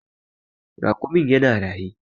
Raƙumin ya na raye.